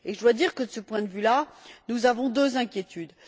Je dois dire que, de ce point de vue là, nous avons deux inquiétudes.